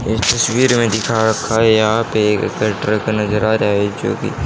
इस तस्वीर में दिखा रखा है यहां पे एक ट्रक नजर आ रहा है जो कि--